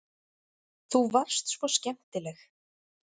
Þú varst svo skemmtileg.